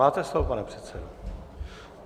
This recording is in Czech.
Máte slovo, pane předsedo.